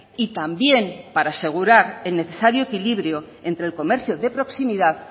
y también para asegurar el necesario equilibrio entre el comercio de proximidad